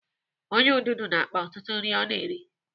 Ọnyá ududo na-akpa ọtụtụ nri ọ na-eri.